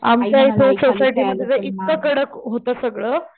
आमच्याही society मध्ये तर इतकं कडक होत सगळं,